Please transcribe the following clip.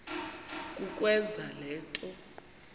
kukwenza le nto